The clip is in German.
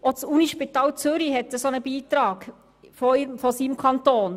Auch das Unispital Zürich (USZ) erhält vom Kanton einen Beitrag von 2,5 Mio. Franken.